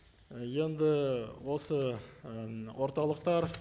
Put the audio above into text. ы енді осы і орталықтар